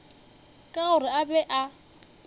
ka gore a be a